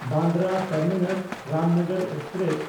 Bandra ᱴᱟᱨᱢᱤᱱᱟᱥ–ᱨᱟᱢᱱᱚᱜᱚᱨ express